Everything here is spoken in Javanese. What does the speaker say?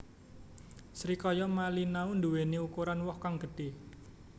Srikaya Malinau nduweni ukuran woh kang gedhe